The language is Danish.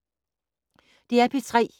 DR P3